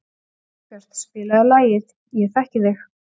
Sólbjört, spilaðu lagið „Ég þekki þig“.